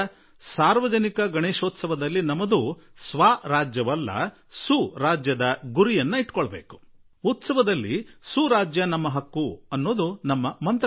ಸಾರ್ವಜನಿಕ ಗಣೇಶೋತ್ಸವ ಸುರಾಜ್ಯ ನಮ್ಮ ಹಕ್ಕು ಎಂದು ಏಕೆ ಆಗಬಾರದು ಈಗ ನಾವು ಸುರಾಜ್ಯದ ಕಡೆ ಮುನ್ನಡೆಯೋಣ